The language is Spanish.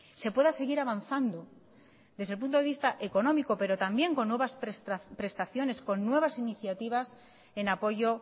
se pueda seguir avanzando desde el punto de vista económico pero también con nuevas prestaciones con nuevas iniciativas en apoyo